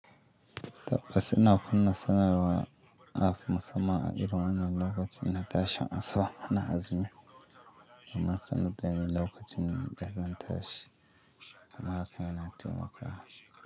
Tabbas ina kunna sanarwar afi musamman a irin wannan lokacin na tashi in sau hana azumi. Na sanaɗani lokacin da zan tashi. Haka yana taimakawa.